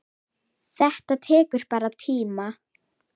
Þetta tekur bara tíma.